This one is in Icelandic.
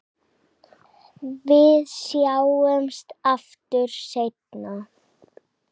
Við sjáumst aftur seinna.